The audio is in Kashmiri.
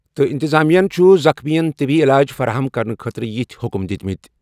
تہٕ اِنتِظامِیاہن چُھ زخمِیَن طِبی علاج فراہم کرنہٕ خٲطرٕ یِتھۍ حُکُم دِتۍمِتۍ ۔